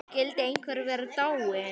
Skyldi einhver vera dáinn?